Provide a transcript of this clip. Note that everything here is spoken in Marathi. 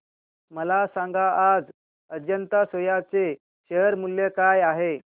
मला सांगा आज अजंता सोया चे शेअर मूल्य काय आहे